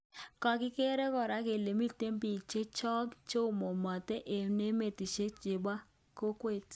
kangeger kora kele miten pik chechoo cheomomenaten en emetishek chepo kokwet.